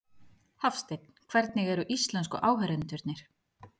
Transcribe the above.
Hafsteinn: Hvernig eru íslensku áheyrendurnir?